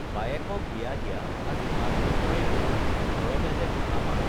বায়েকক বিয়া দিয়া আজি পাঁচ বছৰেই হল ঘৰত যে বুঢ়া মাক